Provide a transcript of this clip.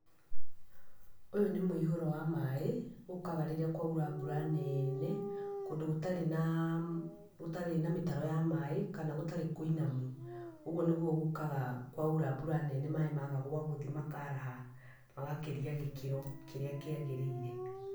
Ũyũ nĩ mũihũro wa maĩ, ũkaga rĩrĩa kwaura mbura neene, kũndũ gũtarĩ naa, gũtarĩ na mĩtaro ya maĩ, kana gũtarĩ kũinamu. Ũguo nĩguo gũkaga kwaura mbura nene maĩ maga gwagũthiĩ makaraha, magakĩria gĩkĩro kĩrĩa kĩagĩrĩire.